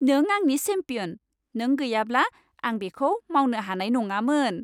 नों आंनि चेम्पियन! नों गैयाब्ला आं बेखौ मावनो हानाय नङामोन।